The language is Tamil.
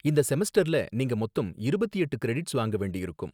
இந்த செமஸ்டர்ல நீங்க மொத்தம் இருபத்தி எட்டு கிரெடிட்ஸ் வாங்க வேண்டியிருக்கும்